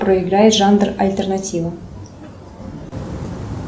проиграй жанр альтернатива